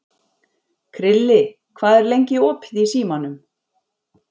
Krilli, hvað er lengi opið í Símanum?